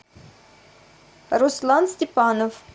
руслан степанов